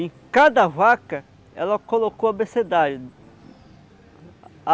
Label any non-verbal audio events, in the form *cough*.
Em cada vaca, ela colocou a *unintelligible*